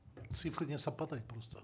цифры не совпадают просто